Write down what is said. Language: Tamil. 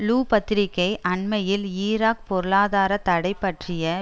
லு பத்திரிகை அண்மையில் ஈராக் பொருளாதார தடை பற்றிய